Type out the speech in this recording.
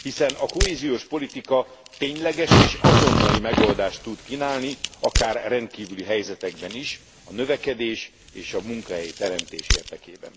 Hiszen a kohéziós politika tényleges és azonnali megoldást tud kínálni, akár rendkívüli helyzetekben is, a növekedés és a munkahelyteremtés érdekében.